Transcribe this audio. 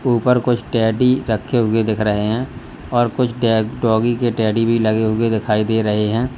ऊपर कुछ टेडी रखें हुए दिख रहे हैं और कुछ डॉगी के टेडी भी लगे हुए दिखाई दे रहे हैं।